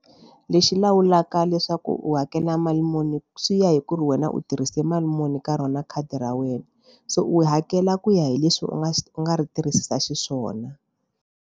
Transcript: Lexi lawulaka leswaku u hakela mali muni swi ya hi ku ri wena u tirhise mali muni ka rona khadi ra wena se u hakela ku ya hi leswi u nga u nga ri tirhisa xiswona.